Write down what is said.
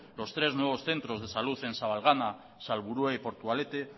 los tres nuevos centros de salud en sabalgana salburua y portugalete